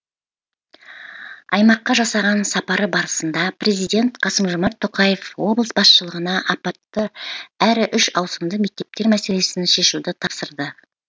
аймаққа жасаған сапары барысында президент қасым жомарт тоқаев облыс басшылығына апатты әрі үш ауысымды мектептер мәселесін шешуді тапсырды